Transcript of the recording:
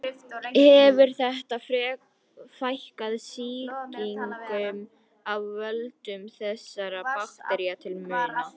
Hefur þetta fækkað sýkingum af völdum þessara baktería til muna.